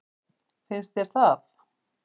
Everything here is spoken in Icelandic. Finnst þér það?